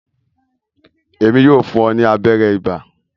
Emi yóò fún o ni abẹrẹ iba.